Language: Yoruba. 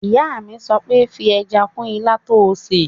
Ìyá mi sọ pé 'fi ẹja kún ilá tó n ṣè!